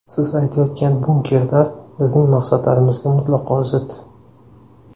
Siz aytayotgan ‘bunkerlar’ bizning maqsadlarimizga mutlaqo zid .